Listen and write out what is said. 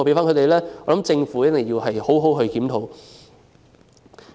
我認為政府一定要好好檢討。